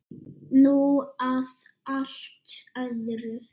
Nú að allt öðru.